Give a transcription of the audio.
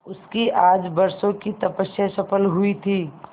उसकी आज बरसों की तपस्या सफल हुई थी